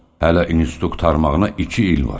Hələ institut qurtarmağına iki il var.